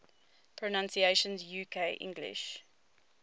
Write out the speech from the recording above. pronunciations uk english